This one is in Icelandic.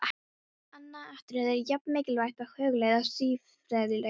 Annað atriði er jafn mikilvægt að hugleiða, siðfræðilega séð.